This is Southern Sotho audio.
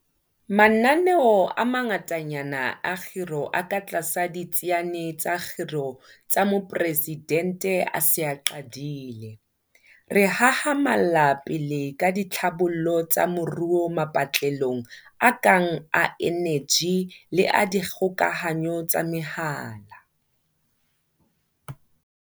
Mananeo a mangatanyana a kgiro a katlasa Ditsiane tsa Kgiro tsa Moporesidente a se a qadile. Re hahamalla pele ka ditlhabollo tsa moruo mapatlelong a kang a eneji le a dikgokahanyo tsa mehala.